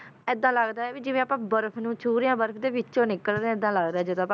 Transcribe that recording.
ਏਦਾਂ ਲੱਗਦਾ ਹੈ ਵੀ ਜਿਵੇਂ ਆਪਾਂ ਬਰਫ਼ ਨੂੰ ਛੂਹ ਰਹੇ ਹਾਂ ਬਰਫ਼ ਦੇ ਵਿੱਚੋਂ ਨਿਕਲ ਰਹੇ ਹਾਂ ਏਦਾਂ ਲੱਗਦਾ ਹੈ ਜਦੋਂ ਆਪਾਂ